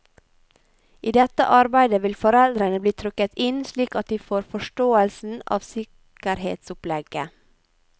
I dette arbeidet vil foreldrene bli trukket inn slik at de får forståelsen av sikkerhetsopplegget.